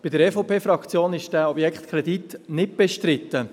In der EVP-Fraktion ist dieser Kredit nicht bestritten.